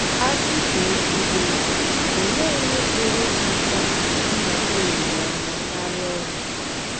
A sị ka a kwube, olee ihe pụrụ ịkpata ndakpọ olileanya karịa ọnwụ?